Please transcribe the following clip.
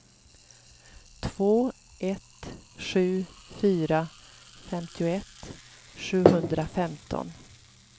två ett sju fyra femtioett sjuhundrafemton